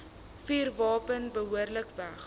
vuurwapen behoorlik weg